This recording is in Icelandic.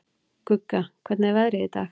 Gugga, hvernig er veðrið í dag?